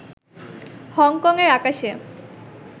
Hong Kong এর আকাশে